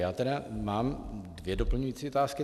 Já tedy mám dvě doplňující otázky.